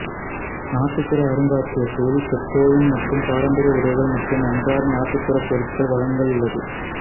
நாட்டுப்புற அருங்காட்சியகத்தில் பெதோயின் மற்றும் பாரம்பரிய உடைகள் மற்றும் அன்றாட நாட்டுப்புற பொருட்கள் வழங்கல் உள்ளது